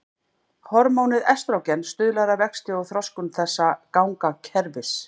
Hormónið estrógen stuðlar að vexti og þroskun þessa gangakerfis.